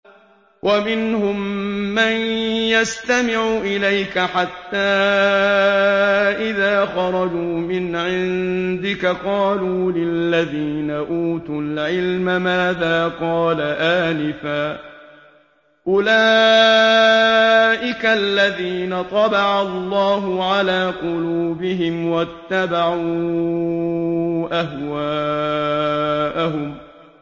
وَمِنْهُم مَّن يَسْتَمِعُ إِلَيْكَ حَتَّىٰ إِذَا خَرَجُوا مِنْ عِندِكَ قَالُوا لِلَّذِينَ أُوتُوا الْعِلْمَ مَاذَا قَالَ آنِفًا ۚ أُولَٰئِكَ الَّذِينَ طَبَعَ اللَّهُ عَلَىٰ قُلُوبِهِمْ وَاتَّبَعُوا أَهْوَاءَهُمْ